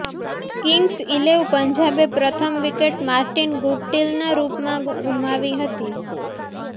Kings eleven પંજાબે પ્રથમ wicket Martin ગુપ્ટિલનાં રૂપમાં ગુમાવી હતી